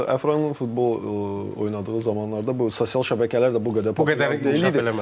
Yəni ümumiyyətlə o vaxtlar Əfranın futbol oynadığı zamanlarda bu sosial şəbəkələr də bu qədər populyar deyildi, inkişaf eləməmişdi.